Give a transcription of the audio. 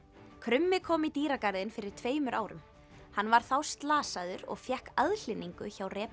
krummi kom í dýragarðinn fyrir tveimur árum hann var þá slasaður og fékk aðhlynningu hjá